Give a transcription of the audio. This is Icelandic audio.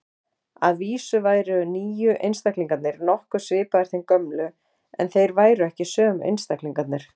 Að vísu væru nýju einstaklingarnir nokkuð svipaðir þeim gömlu, en þeir væru ekki sömu einstaklingarnir.